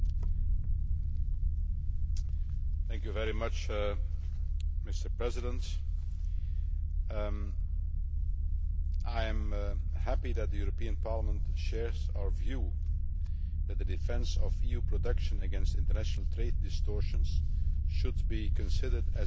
Mr President, I am happy that the European Parliament shares our view that the defence of EU production against international trade distortions should be considered as a necessary component of an open and fair trade strategy.